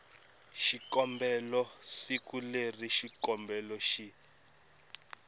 xikombelo siku leri xikombelo xi